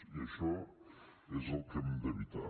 i això és el que hem d’evitar